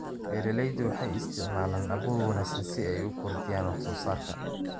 Beeraleydu waxay isticmaalaan abuur wanaagsan si ay u kordhiyaan wax-soo-saarka.